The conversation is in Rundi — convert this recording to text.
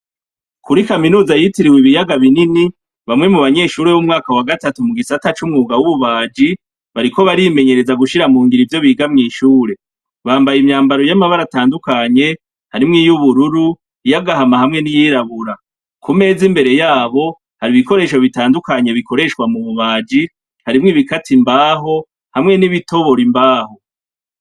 Kuri kaminuza yitiriwe ibiyaga binini bamwe mu banyeshuri b'umwaka wa gatatu mu gisata c'umwuga w'ububaji bariko barimenyereza gushira mu ngiro ivyo biga mw'ishure, bambaye imyambaro y'amabara atandukanye harimwo iyubururu, iyagahama hamwe n'iyirabura, ku meza imbere yabo hari ibikoresho bitandukanye bikoreshwa mu bubaji, harimwo ibikata imbaho hamwe n'ibitobora imbaho.